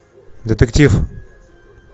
детектив